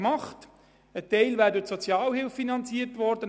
Ein Teil wäre durch die Sozialhilfe bezahlt worden.